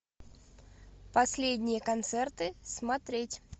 последние концерты смотреть